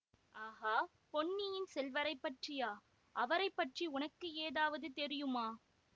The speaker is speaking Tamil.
ஆகா பொன்னியின் செல்வரைப் பற்றியா அவரை பற்றி உனக்கு ஏதாவது தெரியுமா